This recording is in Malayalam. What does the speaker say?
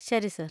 ശരി, സർ.